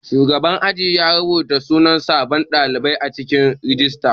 Shugaban aji ya rubata sunan sabon ɗalibi a cikin rijista.